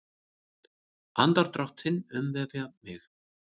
Andardrátt þinn umvefja mig.